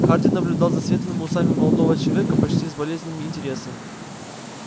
хардин наблюдал за светлыми усами молодого человека почти с болезненным интересом